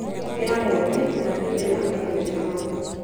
ĩra mwene ngaari ĩrĩa amĩeherie hau.